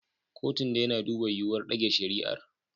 Kotun dai na duba yiwuwar ɗage shari'ar.